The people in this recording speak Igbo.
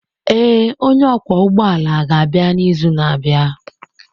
Ee, onye ọkwọ ụgbọ ala ga-abịa n'izu na-abịa.